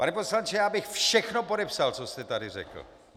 Pane poslanče, já bych všechno podepsal, co jste tady řekl.